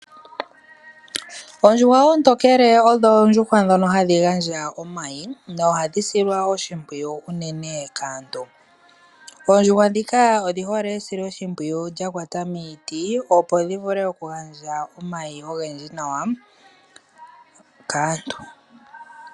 Oondjuhwa oontokele odho oondjuhwa ndhoka hadhi gandja omayi nohadhi silwa oshimpwiyu unene kaantu, oondjuhwa ndhika odhi hole esiloshimpwiyu lyakwata miiti opo dhivule okugandja omayi ogendji nawa kaantu.